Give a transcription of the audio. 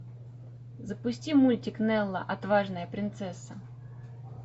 запусти мультик нелла отважная принцесса